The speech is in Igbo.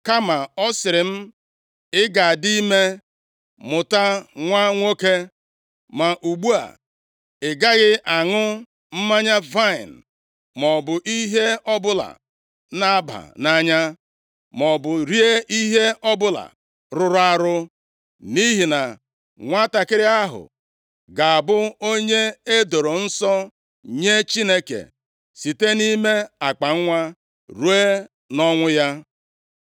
Kama ọ sịrị m, ‘Ị ga-adị ime, mụta nwa nwoke. Ma ugbu a, ị gaghị aṅụ mmanya vaịnị maọbụ ihe ọbụla na-aba nʼanya, maọbụ rie ihe ọbụla rụrụ arụ, nʼihi na nwantakịrị ahụ ga-abụ onye e doro nsọ nye Chineke, site nʼime akpanwa ruo nʼọnwụ ya.’ ”